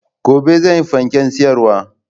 Gobe zanyi fanken siyarwa